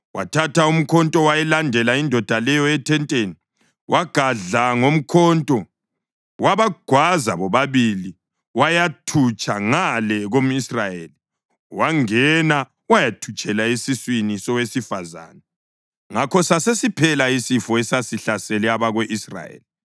wathatha umkhonto wayilandela indoda leyo ethenteni. Wagadla ngomkhonto wabagwaza bobabili wayathutsha ngale komʼIsrayeli wangena wayathutshela esiswini sowesifazane. Ngakho sasesiphela isifo esasesihlasele abako-Israyeli;